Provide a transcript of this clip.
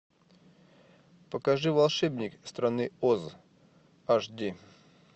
покажи волшебник страны оз аш ди